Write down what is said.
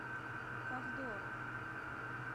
ковдору